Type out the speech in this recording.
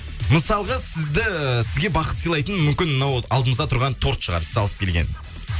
мысалға сізді сізге бақыт сылайтын мүмкін мынау алдымызда тұрған торт шығар сіз алып келген